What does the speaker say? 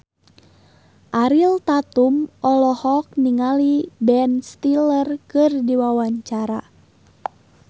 Ariel Tatum olohok ningali Ben Stiller keur diwawancara